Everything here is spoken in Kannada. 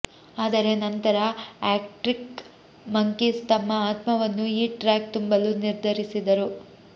ಆದರೆ ನಂತರ ಆರ್ಕ್ಟಿಕ್ ಮಂಕೀಸ್ ತಮ್ಮ ಆತ್ಮವನ್ನು ಈ ಟ್ರ್ಯಾಕ್ ತುಂಬಲು ನಿರ್ಧರಿಸಿದರು